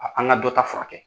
an ka dɔ ta furakɛ.